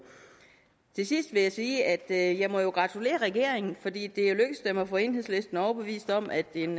til sidst vil jeg sige at jeg jo må gratulere regeringen fordi det jo er lykkedes dem at få enhedslisten overbevist om at en